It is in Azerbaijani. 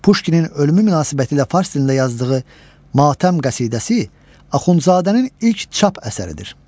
Puşkinin ölümü münasibətilə fars dilində yazdığı matəm qəsidəsi Axundzadənin ilk çap əsəridir.